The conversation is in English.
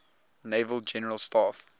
naval general staff